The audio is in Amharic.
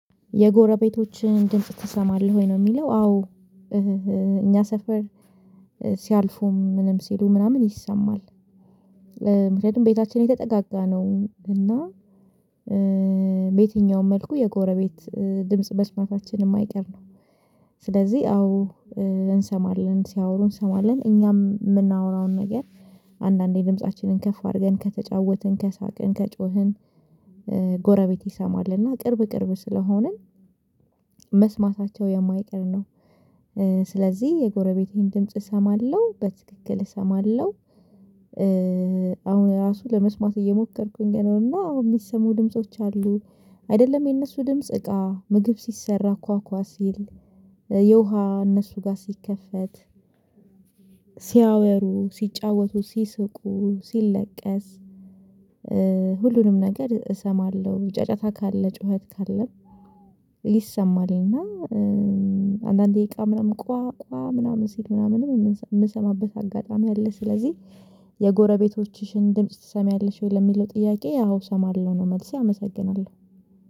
የጎረቤቶችህን ድምጽ ትሰማለህ ወይ ነው እሚለው? አዎ። እኛ ሰፈር ሲያልፉም ምንም ሲሉ ምናምን ይሰማል። ምክንያቱም ቤታችን የተጠጋጋ ነው እና። በየትኛውም መልኩ የጎረቤት ድምጽ በስማታችን እማይቀር ነው። ስለዚህ አዎ እንሰማለን ሲያወሩ እንሰማለን እኛም እምናወራውን ነገር። አንዳንዴ ድምፃችንን ከፍ አርገን ከተጫወትን ከሳቅን ከጮህን። ጎረቤት ይሰማል እና ቅርብ ቅርብ ስለሆንን መስማታቸው የማይቀር ነው። ስለዚህ የጎረቤቴን ድምጽ እሰማለሁ በትክክል እሰማለሁ። አሁን ራሱ ለመስማት እየሞከርኩኝ ነው እና አሁን እሚሰሙ ድምጾች አሉ። አይደለም የነሱ ድምጽ እቃ ምግብ ሲሰራ ኳኳ ሲል የውሃ እነሱ ጋ ሲከፈት። ሲያወሩ ሲጫወቱ ሲስቁ ሲለቀስ። ሁሉንም ነገር እሰማለሁ ጫጫታ ካለ ጩኸት ካለ ይሰማልና። አንዳንዴ እቃ ምናምን ቋቋ ምናምን ስል ምናምን እምሰማበት አጋጣሚ አለ። ስለዚህ የጎረቤቶችሽን ድምጽ ትሰሚያለሽ ወይ ለሚለው ጥያቄ? አው እሰማለሁ ነው መልሴ አመሰግናለሁ።